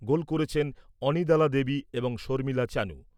গোল করেছেন অনিদালা দেবী এবং শর্মিলা চানু।